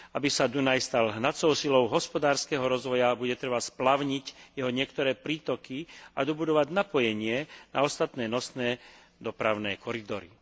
Aby sa Dunaj stal hnacou silou hospodárskeho rozvoja, bude treba splavniť jeho niektoré prítoky a dobudovať napojenie a ostatné nosné dopravné koridory.